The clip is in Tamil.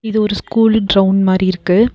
இது ஒரு ஸ்கூலு ட்ரவுண் மாரி இருக்கு.